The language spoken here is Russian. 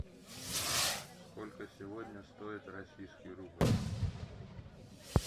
сколько сегодня стоит российский рубль